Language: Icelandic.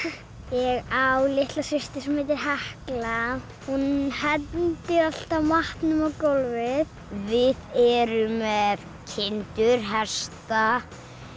ég á litla systur sem heitir Hekla hún hendir alltaf matnum á gólfið við erum með kindur hesta